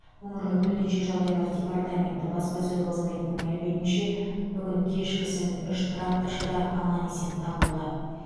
өңірлік төтенше жағдайлар департаменті баспасөз қызметінің мәліметінше бүгін кешкісін үш тракторшы да аман есен табылды